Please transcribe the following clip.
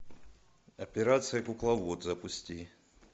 операция кукловод запусти